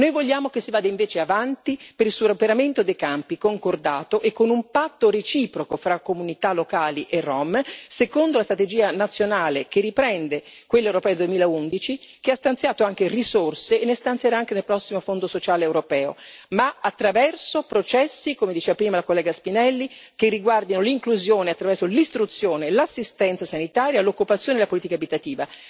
Noi vogliamo che si vada invece avanti per il superamento dei campi concordato e con un patto reciproco, fra comunità locali e rom, secondo la strategia nazionale, che riprende quello europeo del 2011, che ha stanziato già risorse e ne stanzierà anche nel prossimo Fondo sociale europeo, ma attraverso processi, come diceva prima la collega Spinelli, che riguardino l'inclusione attraverso l'istruzione e l'assistenza sanitaria, l'occupazione e la politica abitativa.